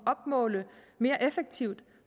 opmåle mere effektivt